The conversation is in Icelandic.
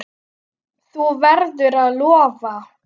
Þú verður að lofa!